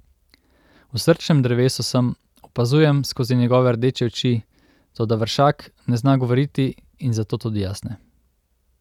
V srčnem drevesu sem, opazujem skozi njegove rdeče oči, toda vršak ne zna govoriti in zato tudi jaz ne.